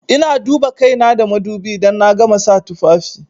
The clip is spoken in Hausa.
Ina duba kaina da madubi idan na gama sa tufafi.